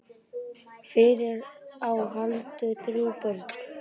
Fyrir á Halldór þrjú börn.